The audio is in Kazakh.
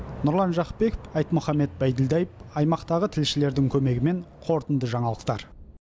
нұрлан жақыпбеков айтмұхамед байділдаев аймақтағы тілшілердің көмегімен қорытынды жаңалықтар